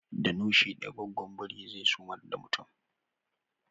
Da noshi daya gwaggon biri zai sumar da mutum